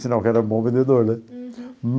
Sinal que era bom vendedor, né? Uhum.